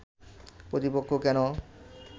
প্রতিপক্ষ কেন